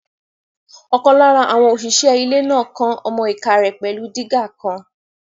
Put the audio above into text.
Ọ̀kan lára àwọn òṣìṣẹ́ ilẹ̀ náà kán ọmọ-ìká rẹ̀ pẹ̀lú dígà kan